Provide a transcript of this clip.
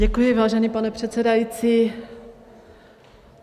Děkuji, vážený pane předsedající.